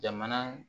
Jamana